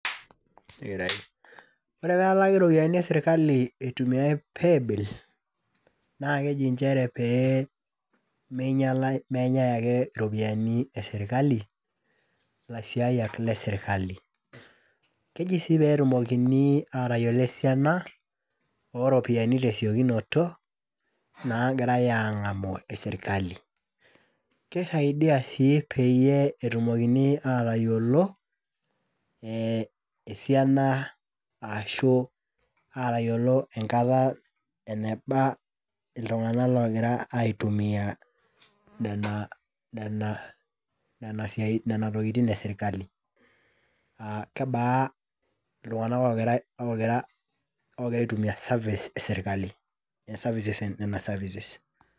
Ore pelaki iropiyiani e sirkali itumiay paybill naa keji nchere pee meinyiala , pee menyae ake iropiyiani esirkali ilaisiayiak le sirkali . Keji sii peetumokini atayiolo esiana oropiyiani tesiokinoto nagirae angamu esirkali. Kisaidia sii peyie etumokini atayiolo esiana ashu atayiolo enkata eneba iltunganak logira aitumia, nena, nena , nena siatin, nena tokitin esirkali aa kebaa iltunganak ogira, ogira services esirkali , services nena serverice